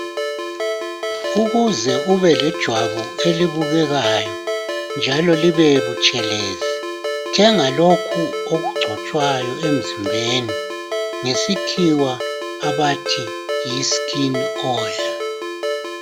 Ukuze ube lejwabu elibukekayo njalo libebutshelezi thenga lokhu okugcotshwayo emzimbeni ngesikhiwa abathi yiskin oil.